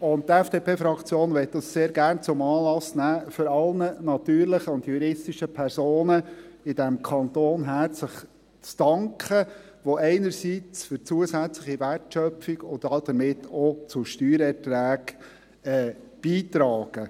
Die FDP-Fraktion möchte dies sehr gerne zum Anlass nehmen, um allen natürlichen und juristischen Personen in diesem Kanton herzlich zu danken, welche einerseits für eine zusätzliche Wertschöpfung und damit auch zu Steuereinträgen beitragen.